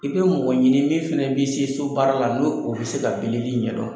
I bɛ mɔgɔ ɲini min fana bɛ se so baara la n'o o bɛ se ka bilili ɲɛdɔn.